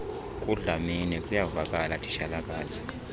kudlamini kuyavakala titshalakazi